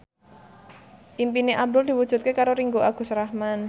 impine Abdul diwujudke karo Ringgo Agus Rahman